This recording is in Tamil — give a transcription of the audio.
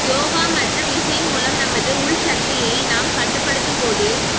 யோகா மற்றும் இசை மூலம் நமது உள்சக்தியை நாம் கட்டுப்படுத்தும் போது